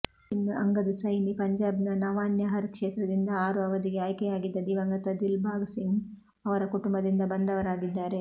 ಇನ್ನು ಅಂಗದ್ ಸೈನಿ ಪಂಜಾಬ್ನ ನವಾನ್ಶಹರ್ ಕ್ಷೇತ್ರದಿಂದ ಆರು ಅವಧಿಗೆ ಆಯ್ಕೆಯಾಗಿದ್ದ ದಿವಂಗತ ದಿಲ್ಬಾಗ್ ಸಿಂಗ್ ಅವರ ಕುಟುಂಬದಿಂದ ಬಂದವರಾಗಿದ್ದಾರೆ